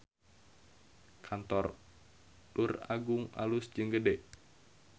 Kantor Luragung alus jeung gede